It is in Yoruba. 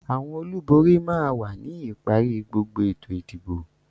Àwọn olùborí máa wà ní ìparí gbogbo ètò ìdìbò.